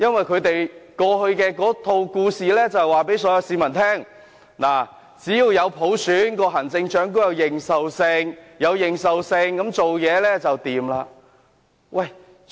他們過去一直告訴市民，只有落實普選，行政長官才有認受性，施政才會暢順。